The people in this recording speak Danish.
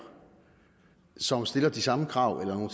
som stiller de samme krav eller nogle